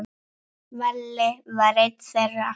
Valli var einn þeirra.